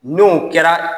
N'o kɛra